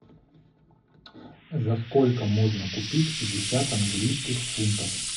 за сколько можно купить пятьдесят английских фунтов